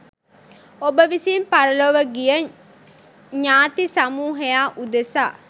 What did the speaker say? ඔබ විසින් පරලොව ගිය ඤාති සමූහයා උදෙසා